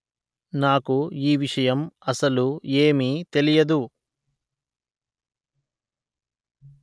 నాకు ఈ విషయం అసలు ఏమీ తెలియదు